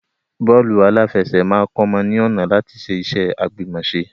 Bọ́ọ́lù aláfẹsẹ̀ máa kọ́mọ ní ọ̀nà láti ṣe iṣẹ́ àgbìmọ̀ṣe.